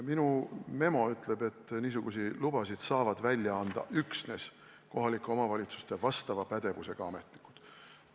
Minu memo ütleb, et niisuguseid lubasid saavad välja anda üksnes kohaliku omavalitsuse vastava pädevusega ametnikud.